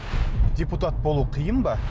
депутат болу қиын ба